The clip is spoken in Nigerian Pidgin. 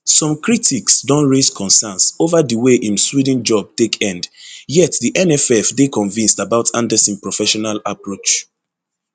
some critics don raise concerns ova di way im sweden job take end yet di nff dey convinced about andersson professional approach